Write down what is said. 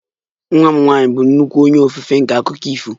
Nwa m nwanyị bụ nnukwu onye ofufe nke akụkọ ifo